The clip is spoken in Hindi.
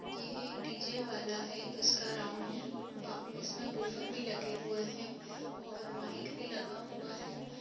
ये एक डीजे वाला है । जिसका राउंड इसमे बूफर भी लगे हुए है और माइक भी लगा हुआ है ।